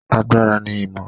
Agbára ni ìmọ̀.